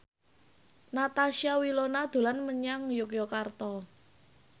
Natasha Wilona dolan menyang Yogyakarta